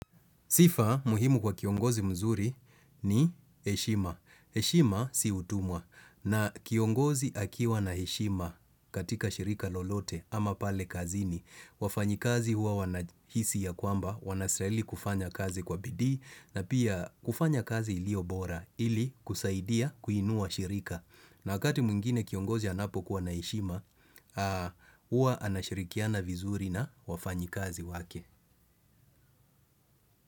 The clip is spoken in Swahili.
Sifa muhimu kwa kiongozi mzuri ni heshima. Heshima si utumwa na kiongozi akiwa na heshima katika shirika lolote ama pale kazini. Wafanyikazi huwa wanahisi ya kwamba, wanastahili kufanya kazi kwa bidii na pia kufanya kazi iliyo bora ili kusaidia kuinua shirika. Na wkati mwingine kiongozi anapokuwa na heshima, huwa anashirikiana vizuri na wafanyikazi wake.